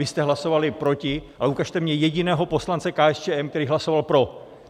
Vy jste hlasovali proti, ale ukažte mi jediného poslance KSČM, který hlasoval pro.